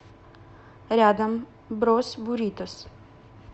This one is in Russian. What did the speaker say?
рядом брос буритос